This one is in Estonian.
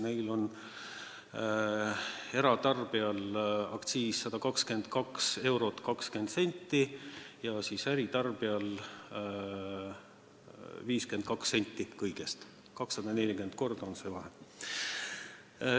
Neil on eratarbijal aktsiis 122 eurot ja 20 senti, äritarbijal kõigest 52 senti – 240 korda on vahe.